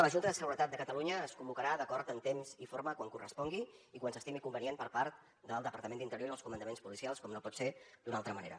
la junta de seguretat de catalunya es convocarà d’acord en temps i forma quan correspongui i quan s’estimi convenient per part del departament d’interior i els comandaments policials com no pot ser d’una altra manera